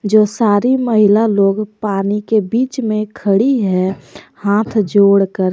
जो सारी महिला लोग पानी के बीच में खड़ी है हाथ जोड़कर।